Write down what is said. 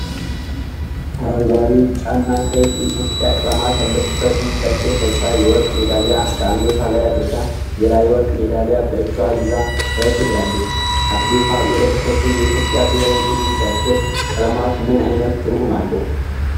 አረንጓዴ፣ ቢጫና ቀይ የኢትዮጵያ ቀለማት ያለበትን ጃኬት ለብሳ፣ የወርቅ ሜዳሊያ በአንገቷ ላይ አድርጋ፣ ሌላ የወርቅ ሜዳሊያ በእጇ ይዛ ፈገግ ብላለች። አትሌቷ የለበሰችው የኢትዮጵያ ብሔራዊ ቡድን ጃኬት ቀለማት ምን ዓይነት ትርጉም አላቸው?